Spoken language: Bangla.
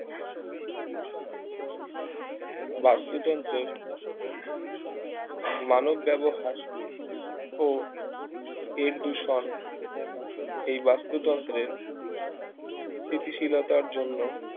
বাস্তুতন্ত্রের মানব ব্যবহার ও এর দূষণ এই বাস্তুতন্ত্রের স্থিতিশীলতার জন্য